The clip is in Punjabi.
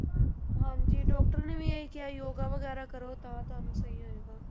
ਹਾਂਜੀ doctor ਨੇ ਵੀ ਇਹੀ ਕਿਹਾ ਯੋਗਾ ਵਗ਼ੈਰਾ ਕਰੋ ਤਾਂ ਤੁਹਾਨੂੰ ਸਹੀ ਹੋਏਗਾ।